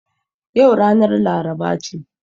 Yau ranar laraba ce